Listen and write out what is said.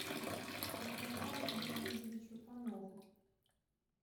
николаю леонидовичу панову